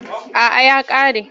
A’a ya ƙare.